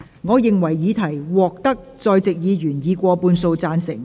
我認為議題獲得在席議員以過半數贊成。